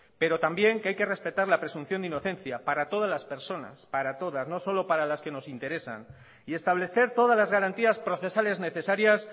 pero también que hay que respetar la presunción de inocencia para todas las personas para todas no solo para las que nos interesan y establecer todas las garantías procesales necesarias